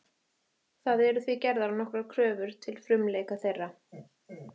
Það eru því gerðar nokkrar kröfur til frumleika þeirra.